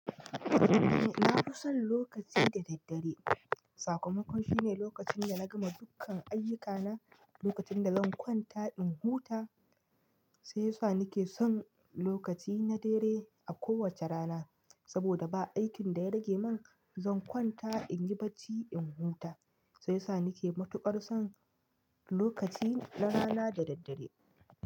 Eh nafison lokacin da daddare. Sakamakon shine lokacinda nagama dukkan ayyukana, lokacin da zan kwanta in huta, shiyasa nake son lokaci na dare a kowace rana. Saboda ba aikin da ya rage min zan kwanta inyi bacci in huta, sai yasa nake matuƙar son lokaci na rana da daddare.